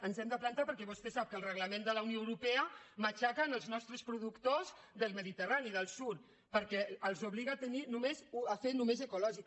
ens hi hem de plantar per·què vostè sap que el reglament de la unió europea matxaca els nostres productors del mediterrani del sud perquè els obliga a fer només ecològica